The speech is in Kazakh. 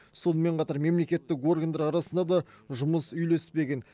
сонымен қатар мемлекеттік органдар арасында да жұмыс үйлеспеген